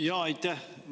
Jaa, aitäh!